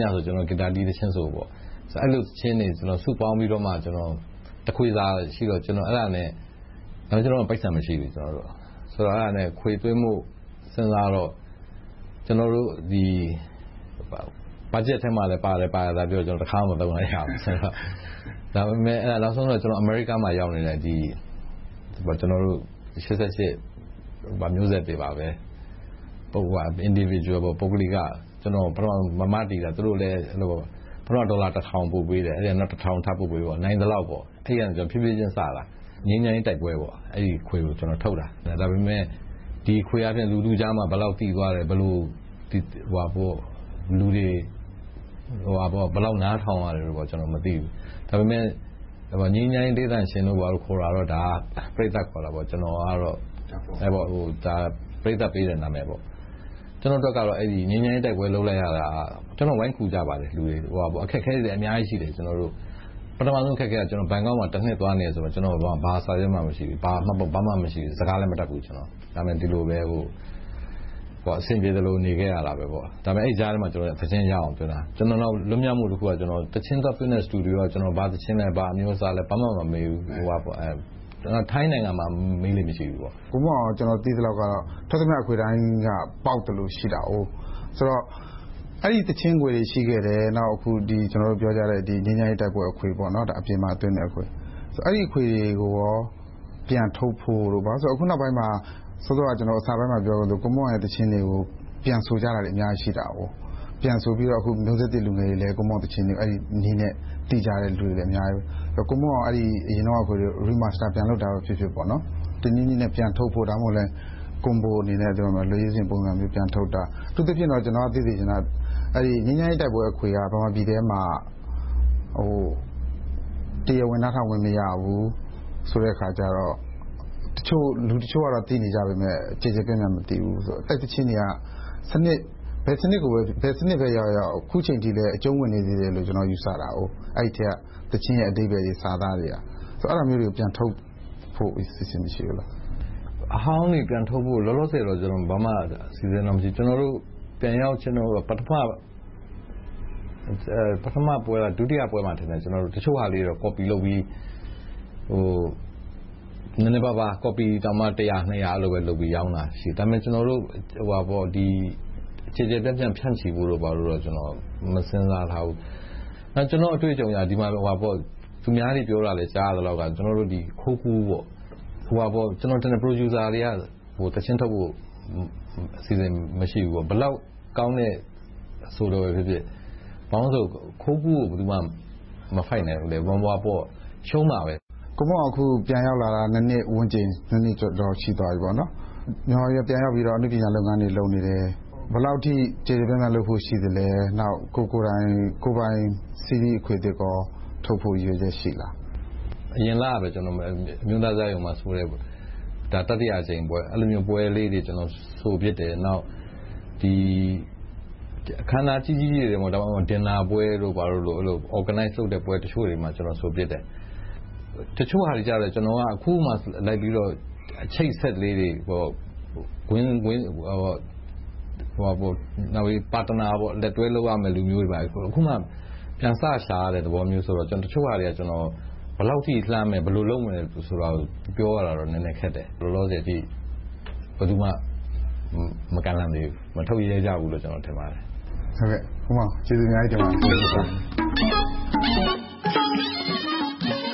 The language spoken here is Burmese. ညဆို ကျနော်တို့ ဂစ်တာတီး သီချင်းဆိုပေါ့။ အဲဒီလို သီချင်းတွေ စုပေါင်းပြီးတော့မှ တခွေစားရှိတော့။ ဒါပေမဲ့ ကျနော်တို့မှာ ပိုက်ဆံ မရှိဘူး။ အဲဒါနဲ့ အခွေသွင်းဖို့ စဉ်းစားတော့ ကျနော်တို့ ဘတ်ဂျက်ထဲမှာလည်းပါတယ် ပြောတယ် ဒါပေမဲ့ တခါမှ မသုံးလိုက်ရဘူး။ နောက်ဆုံးတော့ အမေရိကမှာ ရောက်နေတဲ့ ကျနော်တို့ ရှစ်ဆယ့်ရှစ် မျိုးဆက်တွေပါပဲ ပုဂ္ဂလိက Individuals သူတို့တွေ မတည်တာ။ ပထမ ဒေါ်လာတစ်ထောင် ပို့ပေးတယ်။ နောက် တစ်ထောင်ထပ်ပို့ပေးပေါ့။ နိုင်သလောက်ပေါ့။ ဖြည်းဖြည်းချင်းစတာ ငြိမ်းချမ်းရေးတိုက်ပွဲ အဲဒီအခွေကို ထုတ်ခဲ့တယ်။ ဒါပေမဲ့ ဒီအခွေက လူထုကြားမှာ ဘယ်လောက်သိသွားတယ်။ လူတွေ ဘယ်လောက် နားထောင်ရတယ်ဆိုတာတွေ ကျနော် မသိဘူး။ ဒါပေမဲ့ ငြိမ်းချမ်းရေး တေးသံရှင်တို့ ဘာတို့ ခေါ်တာကတော့ ပရိသတ်ခေါ်တာပေါ့။ ပရိသတ်ပေးတဲ့ နာမည်ပေါ့။ ကျနော့်အတွက်တော့ ငြိမ်းချမ်းရေးတိုက်ပွဲ လုပ်လိုက်ရတာ ကျနော်ကို လူတွေ ဝိုင်းကူကြပါတယ်။ အခက်အခဲတွေလည်း အများကြီးရှိတယ်။ ပထမဦးဆုံး အခက်အခဲက ဘန်ကောက်မှာ တနှစ်လောက်သွားနေတာ ဘာစာရွက်မှ မရှိဘူး။ စကားလည်း မတတ်ဘူး။ ဒါပေမဲ့ ဒီလိုပဲ အဆင်ပြေသလို နေခဲ့ရတယ်။ ဒါပေမဲ့ အဲဒီကြားထဲမှာ သီချင်းရအောင် သွင်းခဲ့တယ်။ ကျနော် လွတ်မြောက်မှုတခုက သီချင်းသွားသွင်းတဲ့ စတူဒီယို က ဘာသီချင်းလဲ။ ဘာအမျိုးအစားလဲ။ ဘာမှ မမေးဘူး။ ထိုင်းနိုင်ငံမှာ မေးလေ့ မရှိဘူး။ ကိုမွန်းအောင် ကို ကျနော် သိသလောက်တော့ ထွက်သမျှအခွေတိုင်းက ပေါက်သလို ရှိတယ်။ ဆိုတော့ အဲဒီသီချင်းခွေတွေ ရှိခဲ့တယ်။ နောက် အခုပြောကြတဲ့ ငြိမ်းချမ်းရေးတိုက်ပွဲအခွေ အပြင်မှာသွင်းတဲ့အခွေ။ အဲဒီအခွေတွေကို ပြန်ထုတ်ဖို့။ အခုနောက်ပိုင်းမှာ အစပိုင်းမှာ ပြောသလို ကိုမွန်းအောင် သီချင်းတွေကို ပြန်ဆိုကြတာတွေ အများကြီးရှိတာကို။ ပြန်ဆိုပြီး မျိုးဆက်သစ် လူငယ်တွေလည်း ကိုမွန်းအောင်သီချင်းတွေကို အဲဒီနည်းနဲ့ သိကြတဲ့လူတွေ အများကြီး။ ကိုမွန်းအောင် အရင်တုန်းက သီချင်းတွေကို Remaster ပြန်လုပ်တာဖြစ်ဖြစ်၊ တနည်းနည်းနဲ့ ပြန်ထုတ်တာ။ ဒါမှမဟုတ် Combo အနေနဲ့ လက်ရွေးစဉ်ပုံစံမျိုး ပြန်ထုတ်တာ။ အထူးသဖြင့် ကျနော် သိစေချင်တာ ငြိမ်းချမ်းရေးတိုက်ပွဲအခွေက မြန်မာပြည်ထဲမှာ တရားဝင် နားထောင်ခွင့် မရဘူးဆိုတဲ့အခါကြတော့ လူတချို့က သိနေကြပေမယ့် ကျယ်ကျယ်ပြန့်ပြန့် မသိဘူးဆိုတော့၊ အဲဒီသီချင်းတွေက ဘယ်စနစ်ကိုပဲဖြစ်ဖြစ်၊ ဘယ်စနစ်ရောက်ရောက် အခုအချိန်အထိ အကြုံဝင်နေသေးတယ်လို့ ကျနော်က ယူဆတာ။ အဲဒီအထဲက သီချင်းအဓိပ္ပါယ်တွေ စာသားတွေက။ အဲဒါမျိုးတွေကို ပြန်ထုတ်ဖို့ အစီအစဉ် မရှိဘူးလား။ အဟောင်းတွေ ပြန်ထုတ်ဖို့ လောလောဆယ်တော့ ဘာမှအစီအစဉ်တော့ မရှိဘူး။ ကျနော်တို့ ပြန်ရောက်ရောက်ချင်း ဒုတိယပွဲမှာထင်တယ် တချို့ဟာတွေ ကော်ပီလုပ်ပြီး နည်းနည်းပါးပါး တစ်ရာနှစ်ရာလုပ်ပြီး ရောင်းတာရှိတယ်။ ဒါပေမဲ့ ကျယ်ကျယ်ပြန့်ပြန့် ဖြန့်ချီဖို့တော့ မစဉ်းစားထားဘူး။ နောက် ကျနော့်အတွေ့အကြုံအရ သူများတွေပြောတာ ကြားရသလောက်တော့ ခိုးကူးတွေများတယ်။ Producer တွေက သီချင်းထုတ်ဖို့ အစီအစဉ် မရှိဘူးပေါ့။ ဘယ်လောက်ကောင်းတဲ့ အဆိုတော်ပဲဖြစ်ဖြစ် ခိုးကူးကို ဘယ်သူမှ မဖိုက်နိုင်သေးဘူး။ ရှုံးတာပဲ။ ကိုမွန်းအောင် အခု ပြန်ရောက်လာတာ နှစ်ဝန်းကျင်၊ နှစ်ကျော်ကျော် ရှိသွားပြီ။ မြန်မာပြည်ထဲ ပြန်ရောက်ပြီး အနုပညာလုပ်ငန်းတွေ လုပ်နေတယ်။ ဘယ်လောက်အထိ ကျယ်ကျယ်ပြန့်ပြန့် လုပ်ဖို့ ရှိပါလဲ။ နောက် ကိုယ့်ကိုယ်တိုင် စီရီအခွေသစ် ထုတ်ဖို့ ရည်ရွယ်ချက်ရှိလား။ အရင်လကပဲ အမျိုးသားဇာတ်ရုံမှာ တတိယအကြိမ်ဆိုတဲ့ပွဲ လုပ်ခဲ့တယ်။ အဲဒီလိုပွဲမျိုးတွေ ဆိုဖြစ်တယ်။ နောက် အခမ်းအနားကြီးကြီးတွေ ဒါမှမဟုတ် Dinner ပွဲတွေလို Organized လုပ်တဲ့ ပွဲတချို့တွေမှာ ဆိုဖြစ်တယ်။ တချို့ဟာတွေကြတော့ အခုမှ လိုက်ပြီးတော့ အချိတ်အဆက်လေးတွေ၊ လက်တွဲလုပ်ရမယ့် လူမျိုးတွေ အခုမှ ပြန်စရှာရတဲ့ သဘောမျိုးဆိုတော့ တချို့ဟာတွေက ဘယ်လောက်အထိ လှမ်းမယ်၊ ဘယ်လိုလုပ်မယ်ဆိုတာတွေ ပြောရမှာ နည်းနည်းတော့ခက်တယ်။ လောလောဆယ် ဘယ်သူမှ မကမ်းလှမ်းသေးဘူး။ မထုတ်ရဲကြဘူးလို့ ကျနော် ထင်ပါတယ်။ ကိုမွန်းအောင် ကျေးဇူးအများကြီးတင်ပါတယ်။